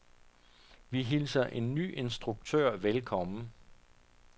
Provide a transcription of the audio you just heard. Vi hilser en ny instruktør velkommen.